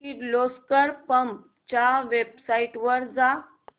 Kirloskar pumps च्या website वर जा